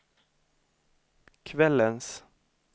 kvällens